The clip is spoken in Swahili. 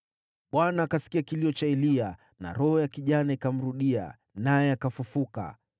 Bwana akasikia kilio cha Eliya, na roho ya kijana ikamrudia, naye akafufuka.